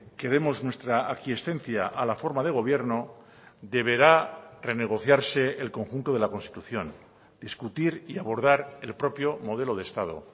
que demos nuestra aquiescencia a la forma de gobierno deberá renegociarse el conjunto de la constitución discutir y abordar el propio modelo de estado